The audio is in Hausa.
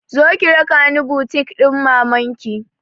Zo ki raka ni butik ɗin maman ki!